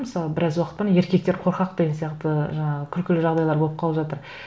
мысалы біраз уақыттан еркектер қорқақ деген сияқты ы жаңағы күлкілі жағдайлар болып қалып жатыр